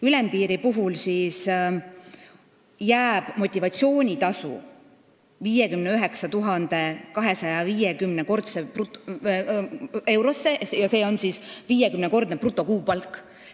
Ülempiiri puhul on motivatsioonitasu 59 250 eurot, s.o 50-kordne keskmine brutokuupalk.